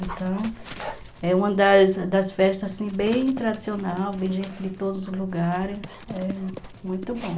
Então, é uma das das festas bem tradicionais, vem gente de todos os lugares, é muito bom.